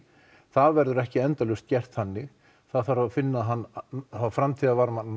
það verður ekki endalaust gert þannig það þarf að finna